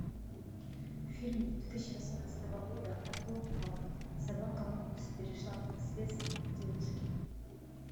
фильм две тысячи восемнадцатого года о том как собака мопс перешла по наследству девушке